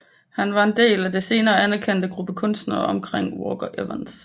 Han var en del af en senere anerkendt gruppe kunstnere omkring Walker Evans